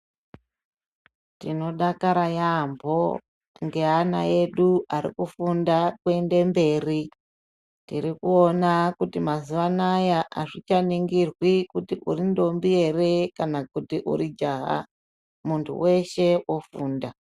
Tinodakara yambo neana aedu arikufunda kuenda mberi ,tirikuwona mazuva anaya azvichaningirwi kuti uri ntombi here kana kuti uri jaha muntu wese ofunda.